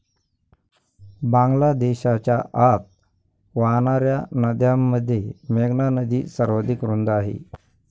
बांगलादेशच्या आत वाहणाऱ्या नद्यांमध्ये मेघना नदी सर्वाधिक रुंद आहे.